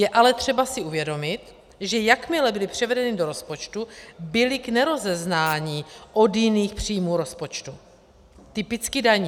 Je ale třeba si uvědomit, že jakmile byly převedeny do rozpočtu, byly k nerozeznání od jiných příjmů rozpočtu, typicky daní.